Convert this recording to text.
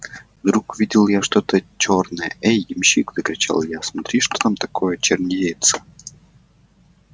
вдруг увидел я что-то чёрное эй ямщик закричал я смотри что там такое чернеется